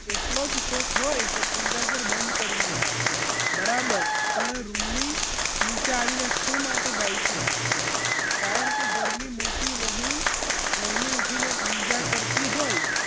એટલો જ શોખ હોય તો પૂજા ઘર બંધ કરી ને ગાય બરાબર પણ રૂમની નીચે આવીને શું માટે ગાય છે કારણ કે ઘરની મોટી વહુ વહેલી ઊઠીને પૂજા કરતી હોય